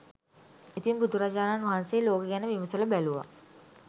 ඉතින් බුදුරජාණන් වහන්සේ ලෝකෙ ගැන විමසල බැලූවා